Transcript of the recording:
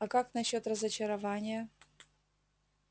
а как насчёт разочарования